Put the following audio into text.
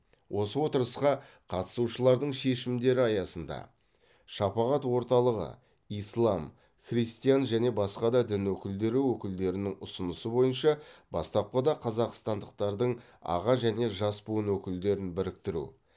осы отырысқа қатысушылардың шешімдері аясында шапағат орталығы ислам христиан және басқа дін өкілдері өкілдерінің ұсынысы бойынша бастапқыда қазақстандықтардың аға және жас буын өкілдерін біріктіру